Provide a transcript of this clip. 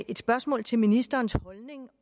et spørgsmål til ministerens holdning